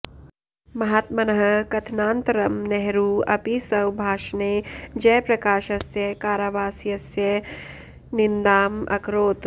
महात्मनः कथनानन्तरं नेहरू अपि स्वभाषणे जयप्रकाशस्य कारावासस्य निन्दाम् अकरोत्